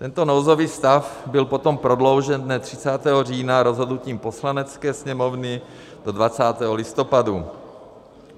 Tento nouzový stav byl potom prodloužen dne 30. října rozhodnutím Poslanecké sněmovny do 20. listopadu.